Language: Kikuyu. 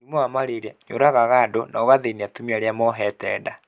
Mũrimũ wa marĩria nĩ ũragaga andũ na ũgathĩnia atumia arĩa mohete nda.